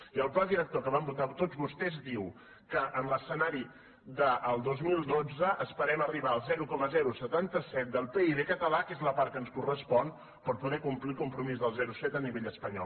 i el pla director que van votar tots vostès diu que en l’escenari del dos mil dotze esperem arribar al zero coma setanta set del pib català que és la part que ens correspon per poder complir el compromís del zero coma set a nivell espanyol